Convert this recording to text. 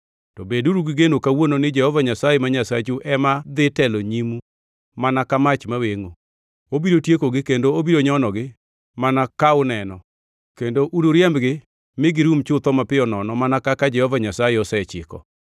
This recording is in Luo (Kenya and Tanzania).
To beduru gigeno kawuono ni Jehova Nyasaye ma Nyasachu ema dhi telo nyimu mana ka mach mawengʼo. Obiro tiekogi kendo obiro nyonogi mana ka uneno, kendo unuriembgi mi girum chutho mapiyo nono mana kaka Jehova Nyasaye osechiko.